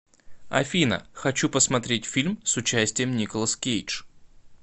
афина хочу просмотреть фильм с участием николас кейдж